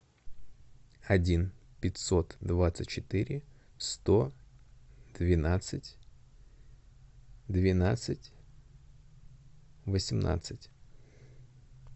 один пятьсот двадцать четыре сто двенадцать двенадцать восемнадцать